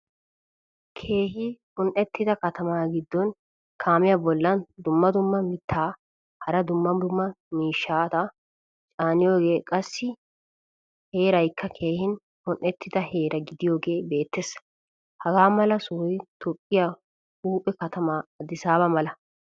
Keehin un'ettida katama giddon kaamiyaa bolan dumma dumma mitta hara dumma miishshata caaniyoge, qassi heeraykka keehin un'etida heera gidiyoge beetees. Hagamala sohoy toophphiyaa huuphphee katama adisaba mala.